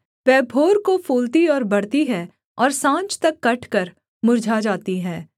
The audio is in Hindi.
वह भोर को फूलती और बढ़ती है और साँझ तक कटकर मुर्झा जाती है